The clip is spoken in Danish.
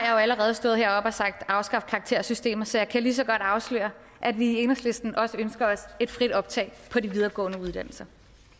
jo allerede stået heroppe og sagt afskaffe karaktersystemet så jeg kan lige så godt afsløre at vi i enhedslisten også ønsker os et frit optag på de videregående uddannelser